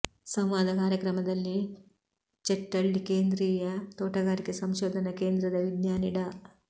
ಸಂವಾದ ಕಾರ್ಯಕ್ರಮದಲ್ಲಿ ಚೆಟ್ಟಳ್ಳಿ ಕೇಂದ್ರೀಯ ತೋಟಗಾರಿಕೆ ಸಂಶೋಧನಾ ಕೇಂದ್ರದ ವಿಜ್ಞಾನಿ ಡಾ